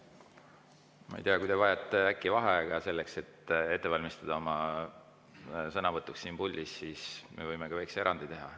Ma ei tea, kui te vajate äkki vaheaega selleks, et valmistuda oma sõnavõtuks siin puldis, siis me võime väikese erandi teha.